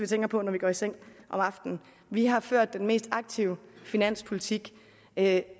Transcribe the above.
tænker på når vi går i seng om aftenen vi har ført den mest aktive finanspolitik af